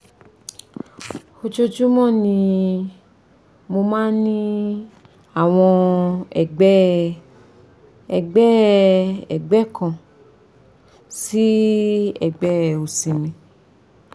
ojoojúmọ́ ni mo máa ń ní àwọn ẹ̀gbẹ́ ẹ̀gbẹ́ ẹ̀gbẹ́ kan sí ẹ̀gbẹ́ òsì mi